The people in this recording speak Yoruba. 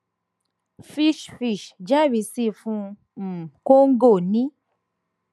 fitch fitch jẹrisi fún um congo ní